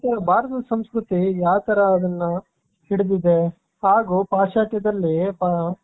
ಭಾರತದ ಸಂಸ್ಕೃತಿ ಯಾವ್ ತರ ಅದನ್ನ ಹಿಡಿದಿದೆ ಹಾಗೂ ಪಾಶ್ಚಾತ್ಯದಲ್ಲಿ